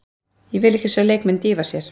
Ég vil ekki sjá leikmenn dýfa sér.